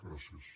gràcies